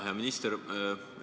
Hea minister!